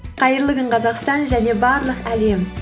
қайырлы күн қазақстан және барлық әлем